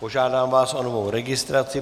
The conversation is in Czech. Požádám vás o novou registraci.